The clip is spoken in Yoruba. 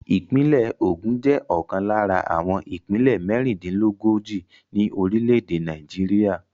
Ìpínlẹ̀ Ogun jẹ́ ọ̀kan lára àwọn ìpínlẹ̀ mẹ́rìndílógójì ní orílẹ̀-èdè Nàìjíríà.